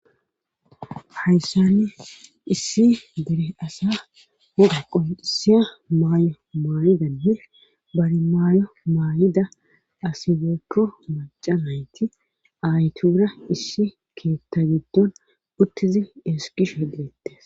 haysani issi dere asaa woga qonccissiya maayo maayidanne bari maayo maayida asi woykko macca nayti aayetuura issi keetta giddon uttidi ezggishe de7eettes.